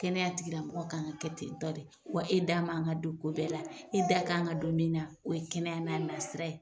Kɛnɛya tigilamɔgɔ k'an ka kɛ ten tɔ de, wa e da man ka don ko bɛɛ la, e da kan ka don min na o ye kɛnɛya n'a sira ye.